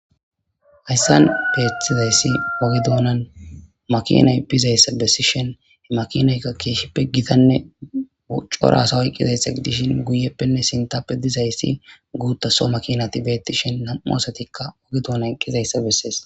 hayssan beethtizayssi oge duunan makinay pizayssa bessi shen he makinaykka keeshshippe gitanne corasawoyqqizayssa idishin guyeppenne sintappe dizayssi guutta so makinati beetti shen nam7u asatikka oge doonay qqizayssa bessees